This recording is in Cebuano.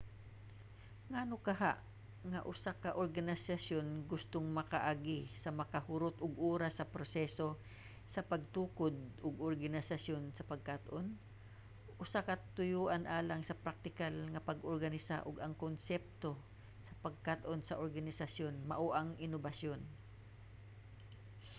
ngano kaha nga ang usa ka organisasyon gustong makaagi sa makahurot og oras nga proseso sa pagtukod og organisasyon sa pagkat-on? usa ka katuyoan alang sa praktikal nga pag-organisa og mga konsepto sa pagkat-on sa organisasyon mao ang inobasyon